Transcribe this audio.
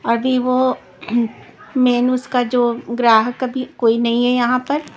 अभी वो मेन उसका जो ग्राहक अभी कोई नहीं है यहाँ पर --